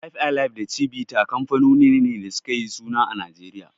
Five alive da Chivita kanfanoni ne da suka yi suna a Najeriya.